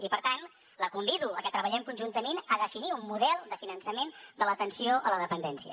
i per tant la convido a que treballem conjuntament a definir un model de finançament de l’atenció a la dependència